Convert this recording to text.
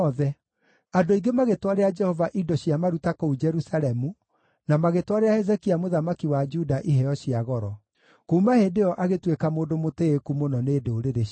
Andũ aingĩ magĩtwarĩra Jehova indo cia maruta kũu Jerusalemu, na magĩtwarĩra Hezekia mũthamaki wa Juda iheo cia goro. Kuuma hĩndĩ ĩyo agĩtuĩka mũndũ mũtĩĩku mũno nĩ ndũrĩrĩ ciothe.